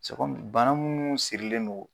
bana munnu sirilen don